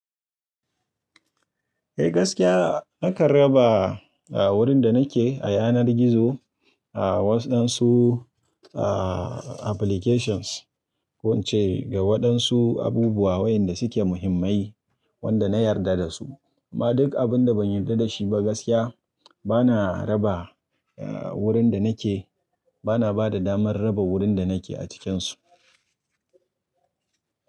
Eh gaskiya nakan raba wurin da nake a yanar gizo a waɗansu applications ko ince ga waɗansu abubuwa wayanda suke muhimmai wanda na yarda dasu. Amma duk abun da ban yarda dashi ba gaskiya bana raba wurin da nake bana bada damar raba wurin da nake a cikinsu.